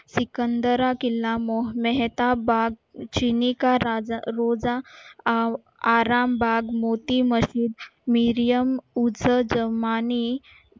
सिकंदरा किल्ला मेहता बाग आराम भाग मोठी मज्जिद